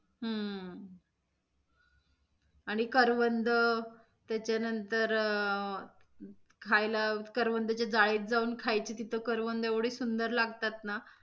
हम्म आणि करवंद त्याच्यानंतर अं खायला करवंदाच्या जाळीत जाऊन खायचे तिथे करवंद एवढे सुंदर लागतात ना.